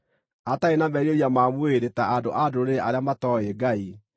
atarĩ na merirĩria ma mwĩrĩ ta andũ a ndũrĩrĩ arĩa matooĩ Ngai;